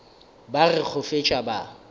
ba re go fetša ba